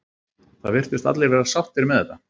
Það virtust allir vera sáttir með þetta.